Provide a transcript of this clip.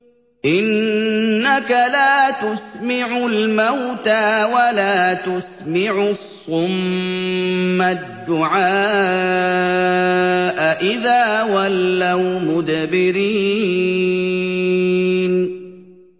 إِنَّكَ لَا تُسْمِعُ الْمَوْتَىٰ وَلَا تُسْمِعُ الصُّمَّ الدُّعَاءَ إِذَا وَلَّوْا مُدْبِرِينَ